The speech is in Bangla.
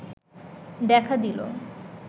দেখা দিল